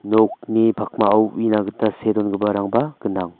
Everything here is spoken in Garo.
nokni pakmao uina gita see dongiparangba gnang.